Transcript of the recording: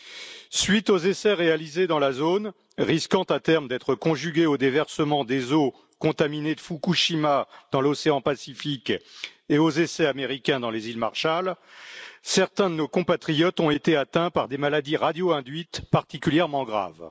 À la suite des essais réalisés dans la zone, risquant à terme d'être conjugués au déversement des eaux contaminées de Fukushima dans l'océan Pacifique ainsi qu'aux essais américains dans les Îles Marshall, certains de nos compatriotes ont été atteints par des maladies radio induites particulièrement graves.